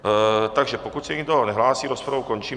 Takže pokud se nikdo nehlásí, rozpravu končím.